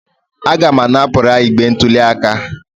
Aga m apụnara igbe ntụli aka